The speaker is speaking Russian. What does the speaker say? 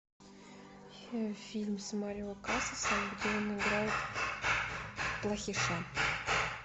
фильм с марио касасом где он играет плохиша